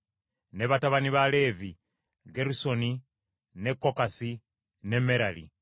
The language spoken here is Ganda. Ne batabani ba Leevi: Gerusoni, ne Kokasi ne Merali.